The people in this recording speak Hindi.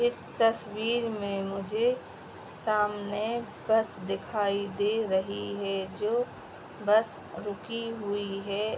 इस तस्वीर में मुझे सामने बस दिखाई दे रही है जो बस रुकी हुई है।